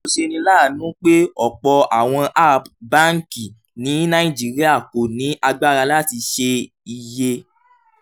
ó ṣeni láàánú pé ọ̀pọ̀ àwọn app báńkì ní nàìjíríà kò ní agbára láti ṣe iye